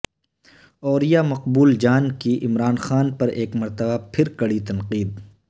اوریا مقبول جان کی عمران خان پر ایک مرتبہ پھر کڑی تنقید